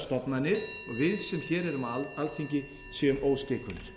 stofnanir og við sem hér erum á alþingi séum óskeikulir